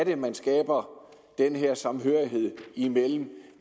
man skaber denne samhørighed mellem